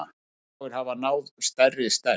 Örfáir hafa náð stærri stærð.